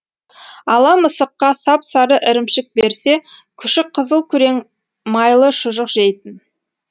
ала мысыққа сап сары ірімшік берсе күшік қызыл күрең майлы шұжық жейтін